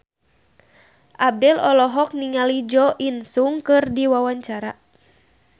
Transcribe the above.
Abdel olohok ningali Jo In Sung keur diwawancara